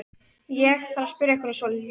Ég. ég þarf að spyrja ykkur að svolitlu.